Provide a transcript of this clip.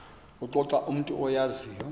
kuxoxa umntu oyaziyo